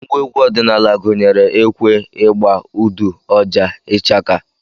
Ngwa egwu ọdịnala gụnyere ekwe, ịgba, udu, ọjà, ichaka